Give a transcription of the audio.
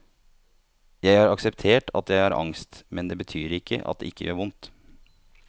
Jeg har akseptert at jeg har angst, men det betyr ikke at det ikke gjør vondt.